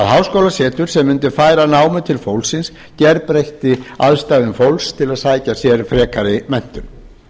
háskólasetur sem mundi færa námið til fólksins gerbreytti aðstæðum fólks til að sækja sér frekari menntun